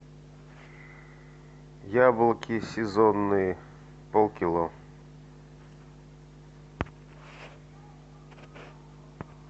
яблоки сезонные полкило